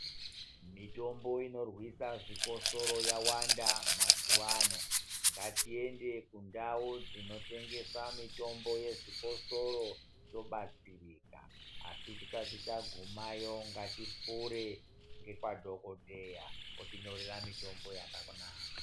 Mitombo inorwisa zvikosoro yawanda mazuwaano ngatiende kundau dzinotengesa mitombo uezvikosoro tobatsirika asi tisati tagumayo ngatipfure nekwadhokodheya otinyorera mitombo yakanaka.